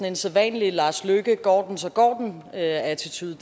en sædvanlig går den så går den attitude